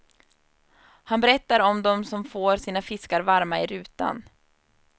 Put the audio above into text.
Han berättar om de som får sina fiskar varma i rutan.